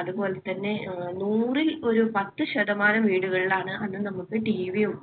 അതുപോലെതന്നെ അഹ് നൂറിൽ ഒരു പത്ത് ശതമാനം വീടുകളിലാണ് അന്ന് നമുക്ക് TV യും